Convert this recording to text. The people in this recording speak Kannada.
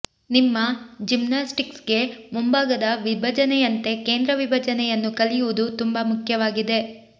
ನಿಮ್ಮ ಜಿಮ್ನಾಸ್ಟಿಕ್ಸ್ಗೆ ಮುಂಭಾಗದ ವಿಭಜನೆಯಂತೆ ಕೇಂದ್ರ ವಿಭಜನೆಯನ್ನು ಕಲಿಯುವುದು ತುಂಬಾ ಮುಖ್ಯವಾಗಿದೆ